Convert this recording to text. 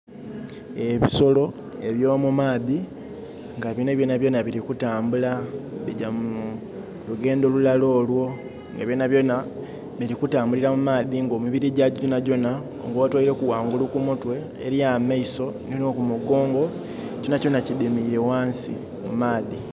Ebisolo eby'omumaadhi nga bino byona byona bili kutambula bigya mu lugendho lulala olwo. Nga byona byona bili kutambulila mu maadhi nga emili gyagyo gyona gyona nga otweileku wangulu kumutwe, eli amaiso ni kumugongo, kyona kyona kidhimiire wansi mu maadhi.